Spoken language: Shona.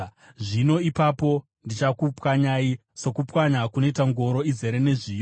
“Zvino ipapo ndichakupwanyai sokupwanya kunoita ngoro izere nezviyo.